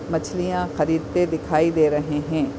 मछलियाँ खरीदते दिखाई दे रहे है।